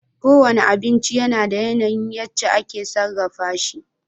Kowane abinci da yana yin yace ake sarrafa shi